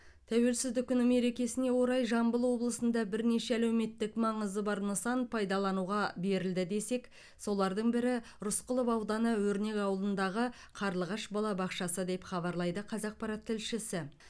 тәуелсіздік күні мерекесіне орай жамбыл облысында бірнеше әлеуметтік маңызы бар нысан пайдалануға берілді десек солардың бірі рысқұлов ауданы өрнек ауылындағы қарлығаш балабақшасы деп хабарлайды қазақпарат тілшісі